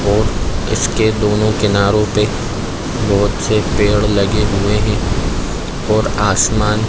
और इसके दोनों किनारों पे बहोत से पेड़ लगे हुए है और आसमान--